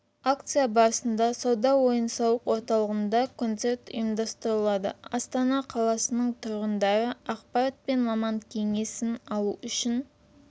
акция барысында сауда-ойын сауық орталығында концерт ұйымдастырылады астана қаласының тұрғындары ақпарат пен маман кеңесін алу үшін